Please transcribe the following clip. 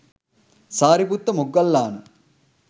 Sariputta Moggallana